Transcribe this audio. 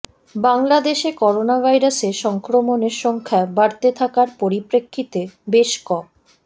বাংলাদেশে করোনাভাইরাসে সংক্রমণের সংখ্যা বাড়তে থাকার পরিপ্রেক্ষিতে বেশ ক